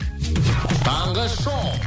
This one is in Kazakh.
таңғы шоу